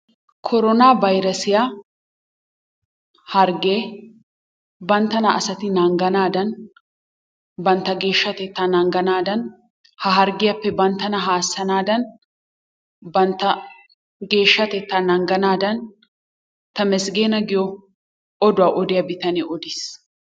Korona bayressiya harggee banttana asati nangganaadan, bantta geshshatetta nangganadan, ha harggiyaappe banttana haassanadan bantta geeshshatetta nangganadan Temesgena giyo oduwaa odiyaa bitanee odiis.